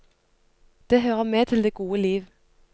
Det hører med til det gode liv.